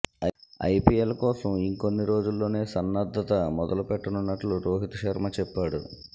IPL కోసం ఇంకొన్ని రోజుల్లోనే సన్నద్ధత మొదలుపెట్టనున్నట్లు రోహిత్ శర్మ చెప్పాడు